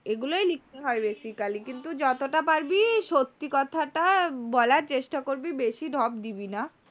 এগুলোই লিখতে হয় basically । কিন্তু যতটা পারবি সত্যি কথাটা বলার চেষ্টা করবি বেশি ঢপ দিবি না।